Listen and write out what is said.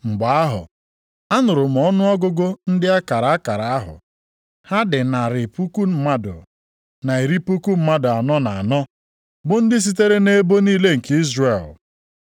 Mgbe ahụ anụrụ m ọnụọgụgụ ndị a kara akara ahụ, ha dị narị puku mmadụ, na iri puku mmadụ anọ na anọ, bụ ndị sitere nʼebo niile nke Izrel.